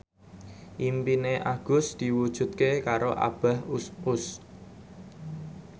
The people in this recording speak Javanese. impine Agus diwujudke karo Abah Us Us